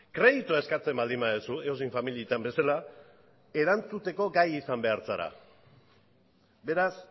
kreditua eskatzen baldin baduzu edozein familietan bezala erantzuteko gai izan behar zara beraz